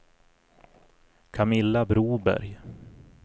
Camilla Broberg